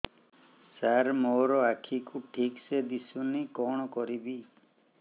ସାର ମୋର ଆଖି କୁ ଠିକସେ ଦିଶୁନି କଣ କରିବି